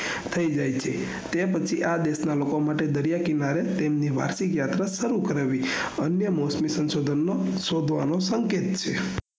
થઇ જાય છે તે પછી આ દેશના રોકાણ માટે દરિયા કિનારે તેમની માસિક યાત્રા શરુ કરાવી અન્ય મોસમી સંશોધન માં શોધવા નો સંકેત છે